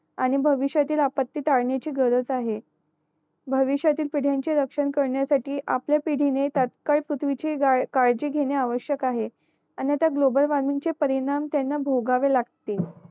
आणि भविष्यतील आपत्ती टाळण्या ची गरज आहे भविष्यातील पिढ्याची रक्षण करण्यासाठी आपल्या पिढी ने तात्काळ पृथ्वी ची काळजा घेणे आवश्यक आहे आणि आता ग्लोबल वॉर्मिंग चे परिणाम त्यांना भोगावे लागतील